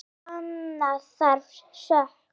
Sanna þarf sök.